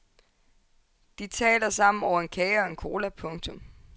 De taler sammen over en kage og en cola. punktum